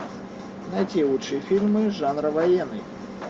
найти лучшие фильмы жанра военный